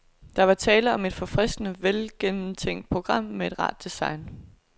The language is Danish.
Der er tale om et forfriskende velgennemtænkt program med et rart design.